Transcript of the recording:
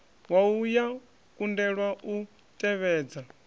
wua ya kundelwa u tevhedza